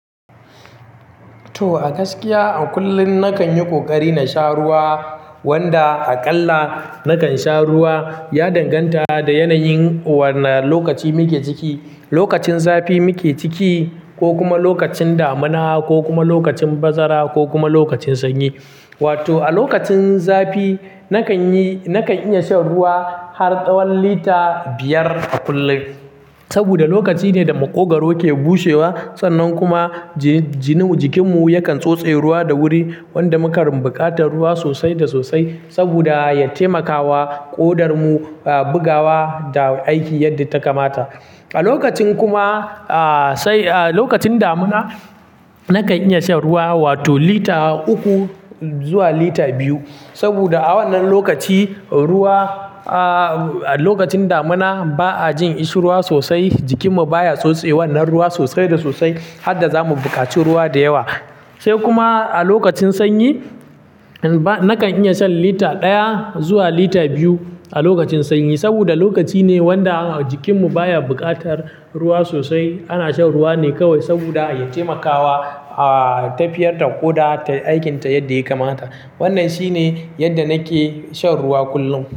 To, a gaskiya a kullum nakan yi ƙoƙari na sha ruwa wanda aƙalla nakan sha ruwa. Ya danganta da yanayin wana lokaci muke ciki. Lokacin zafi muke ciki ko kuma lokacin damina ko kuma lokacin bazara ko kuma lokacin sanyi. Wato a lokacin zafi nakan yi, nakan iya shan ruwa har tsawon lita biyar a kullum. Saboda lokaci ne da maƙogwaro ke bushewa sannan kuma jinu, jikinmu yakan tsotse ruwa da wuri wanda muka rinɓuƙatar ruwa sosai da sosai saboda ya taimakawa ƙodarmu, ah, bugawa da aiki yadda ta kamata. A lokacin kuma, ah, sai, ah, lokacin damina nakan iya shan ruwa wato lita uku zuwa lita biyu. Saboda a wannan lokaci ruwa, ah, lokacin damina ba a jin ishurwa sosai, jikinmu baya tsotse wannan ruwa sosai da sosai har da za mu buƙaci ruwa da yawa. Sai kuma a lokacin sanyi ba, nakan iya shan lita ɗaya zuwa lita biyu a lokacin sanyi. Saboda lokaci ne wanda jikinmu baya buƙatar ruwa sosai. Ana shan ruwa ne kawai saboda ya taimakawa, ah, tafiyar da ƙoda ta aikinta yadda ya kamata. Wannan shine yadda nake shan ruwa kullum.